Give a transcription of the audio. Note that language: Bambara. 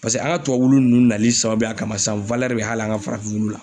Paseke an ka tubabu wulu nunnu nali sababuya kama sisan bɛ hali an ka farafin wulu la.